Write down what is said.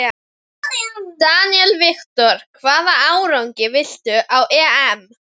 Daniel Victor: Hvaða árangri viltu ná á EM?